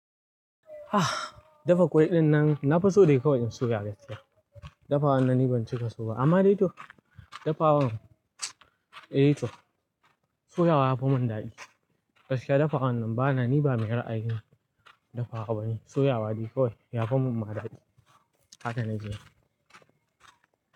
Ah, dafaffan ƙwan nan nafi son kawai in soya shi Dafaffan nan ni ban cika so ba. Amma dai to, dafawan, eh toh, soyawa yafi mun dadi. Gaskiya dafa wannan ba na ni ba mai ra'ayin dafa wa bane. Soyawa kawai yafi mun ma dadi. Haka na ji ne.